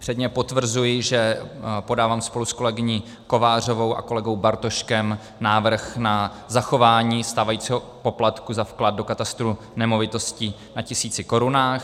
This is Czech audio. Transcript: Předně potvrzuji, že podávám spolu s kolegyní Kovářovou a kolegou Bartoškem návrh na zachování stávajícího poplatku za vklad do katastru nemovitostí na tisíci korunách.